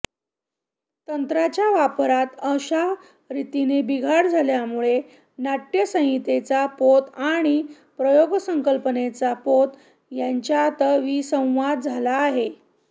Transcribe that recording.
तंत्राच्या वापरांत अशा रीतीने बिघाड झाल्यामुळे नाट्यसंहितेचा पोत आणि प्रयोगसंकल्पनेचा पोत यांच्यातच विसंवाद झाला आहे